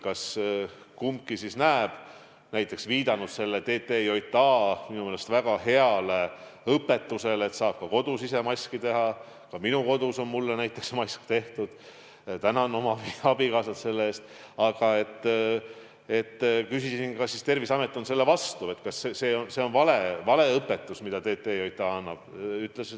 Küsisin, viidates sellele TTJA õpetusele, mis minu meelest on väga hea, kuidas saab ka kodus ise maski teha – ka minul on kodus tehtud mask, tänan oma abikaasat selle eest –, kas Terviseamet on selle vastu ja kas see on vale õpetus, mida TTJA annab.